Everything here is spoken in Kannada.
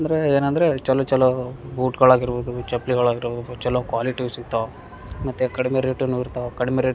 ಅಂದ್ರೆ ಏನಂದ್ರೆ ಚಲೋ ಚಲೋ ಬೂಟ್ಗಳಾಗಿರಬಹುದು ಚಪ್ಲಿಗಳಾಗಿರಬಹುದು ಚಲೋ ಕ್ವಾಲಿಟಿವ್ ಸಿಗತ್ತವ್ ಮತ್ತೆ ಕಡಿಮೆ ರೇಟುನು ಇರ್ತಾವ್ ಕಡಿಮೆ ರೇಟ್ --